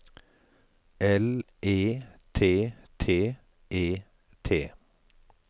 L E T T E T